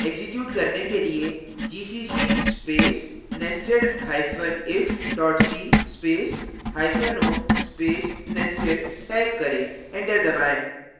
execute करने के लिए gcc space nestedif c space hyphen o space nested type करें enter दबाएँ